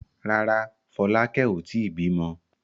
Rárá, Fọlákẹ́ ò tí ì bímọ.